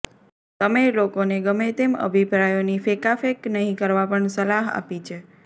તમે લોકોને ગમે તેમ અભિપ્રાયોની ફેંકાફેંક નહીં કરવા પણ સલાહ આપી છે